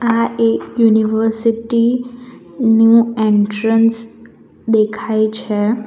આ એક યુનિવર્સિટી નું એન્ટ્રન્સ દેખાય છે.